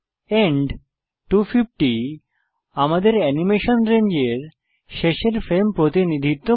and 250 আমাদের animation রেঞ্জের শেষের ফ্রেম প্রতিনিধিত্ব করে